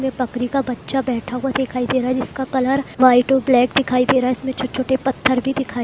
यह बकरी का बच्चा बैठा हुआ दिखाई दे रहा है जिसका कलर व्हाइट और ब्लैक दिखाई दे रहा है | इसमें छोटे छोटे पत्थर भी दिखाई --